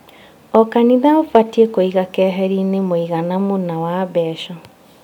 O kanitha ũbatiĩ kũiga keherinĩ mũigana mũna wa mbeca